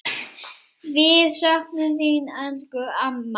Við söknum þín, elsku amma.